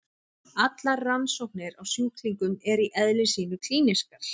Allar rannsóknir á sjúklingum eru í eðli sínu klínískar.